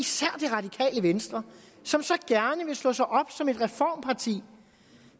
jeg venstre som så gerne vil slå sig op som et reformparti